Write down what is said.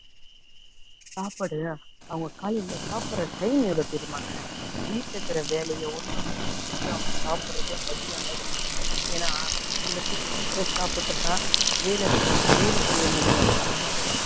சாப்பாடுல்ல அவங்க காலையில சாப்பிடுற time எவ்வளவு தெரியுமாங்க, வீட்டுல இருக்குற வேலையை ஒண்ணு ஒண்ணும் முடிச்சுட்டு அவங்க சாப்பிடுறது மதியம் ஆகிடும். ஏன்னா சில பேர் சீக்கிரம் சாப்பிட்டுட்டா வேலை சோ~ வேலை செய்ய முடியாது, அதனால